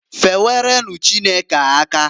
Fewerenu Chukwu aka.